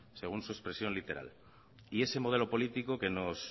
según su expresión literal y ese modelo político que nos